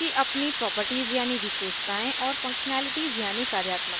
base class की अपनी properties यानि विशेषतायें और functionality यानि कार्यात्मकताएं होती हैं